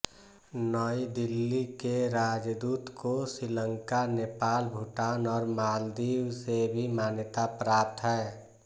नई दिल्ली के राजदूत को श्रीलंका नेपाल भूटान और मालदीव से भी मान्यता प्राप्त है